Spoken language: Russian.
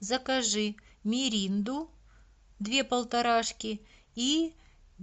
закажи миринду две полторашки и